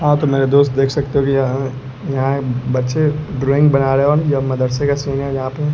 हां तो मेरे दोस्त देख सकते हो कि यह यहां बच्चे ड्राइंग बना रहे और यह मदरसे का सीन है जहां पे--